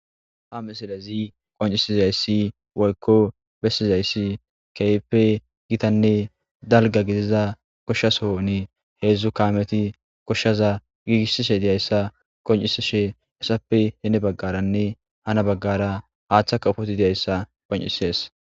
ha misilezi qoncisizayssi woykko bessizayssi keype gitanne dalga gidiza koshshaso ne heedzdzu kameti koshshaza giigishishe deyayssa qoncisishe essappe heene baggaranne hana baggara haaththa kafoti deyayssa qoncisees